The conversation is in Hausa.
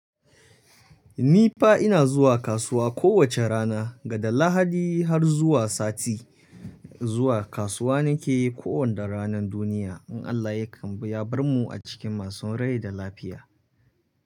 Ni fa ina zuwa kasuwa kowace rana, daga Lahadi har zuwa sati. Zuwa kasuwa na ke yi kowanda ranar duniya in Allah ya kambi ya bar mu a cikin masu rai da lafiya.